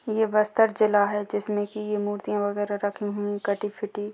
ये बस्तर जिला है जिसमे की ये मुर्तिया वगैरा रखी हुई है कटी फिटी--